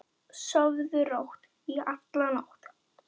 Sofðu rótt.